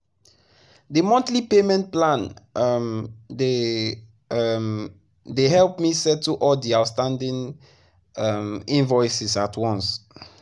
the monthly payment plan um dey um dey help me settle all the outstanding um invoices at once.